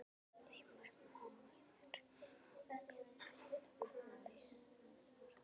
Heimir Már Pétursson: Hvaða leið á að fara?